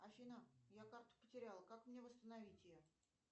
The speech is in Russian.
афина я карту потеряла как мне восстановить ее